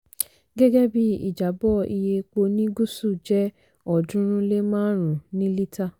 gẹ́gẹ́ bí ìjábọ́ iye epo ní gúsù jẹ́ ọ̀ọ́dúnrún lé márùn-ún ní lítà.